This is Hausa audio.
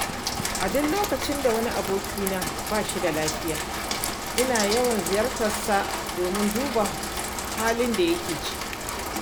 A duk lokacin da wani abokina ba shi da lafiya ina yawan ziyartarsa domin duba halin da yake ciki.